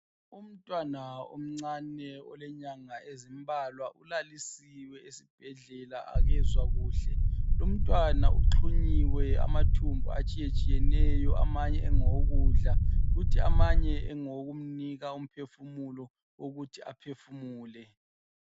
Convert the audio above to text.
Umntwana omncane olenyanga ezimbalwa ulalisiwe esibhedlela akezwa kuhle, lumntwana uxhunyiwe amathumbu atshiye tshiyeneyo, amanye engewo kudla kuthi amanye engewo kumnika umphefumulo ukuthi aphefumule.